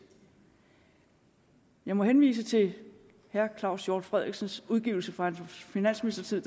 jeg må henvise til herre claus hjort frederiksens udgivelse fra hans finansministertid